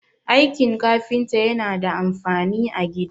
aikin kafinta yana da amfani a gida